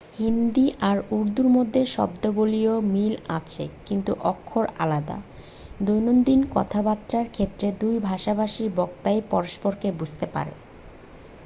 হিন্দি আর উর্দুর মধ্যে শব্দাবলীর মিল আছে কিন্তু অক্ষর আলাদা দৈনন্দিন কথাবার্তার ক্ষেত্রে দুই ভাষাভাষী বক্তাই পরস্পরকে বুঝতে পারে